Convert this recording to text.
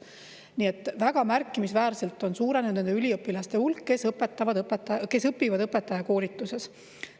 Nii et väga märkimisväärselt on suurenenud nende üliõpilaste hulk, kes õpivad õpetajakoolituses.